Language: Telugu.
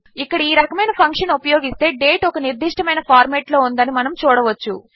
ఇక్కడ ఈ రకమైన ఫంక్షన్ ఉపయోగిస్తే డేట్ ఒక నిర్దిష్టమైన ఫార్మాట్లో ఉందని మనము చూడవచ్చు